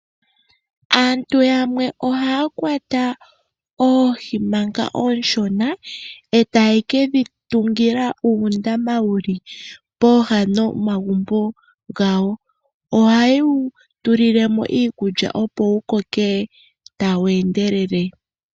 Aantu yamwe ohaya kwata oohi manga ooshona, e taye ke dhi tungila uundama wuli pooha nomagumbo gawo. Ohaye wu tulile mo iikulya opo wu koke tawu endelele.